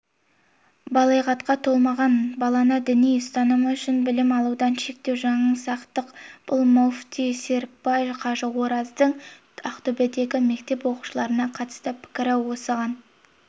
балиғатқа толмаған баланы діни ұстанымы үшін білім алудан шектеу жаңсақтық бас муфти серікбай қажы ораздың ақтөбедегі мектеп оқушыларына қатысты пікірі осыған